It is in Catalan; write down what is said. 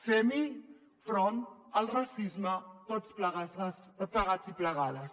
fem hi front al racisme tots plegats i plegades